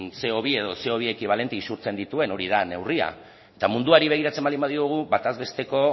ce o bi edo ce o bi ekibalente isurtzen dituen hori da neurria munduari begiratzen baldin badiogu bataz besteko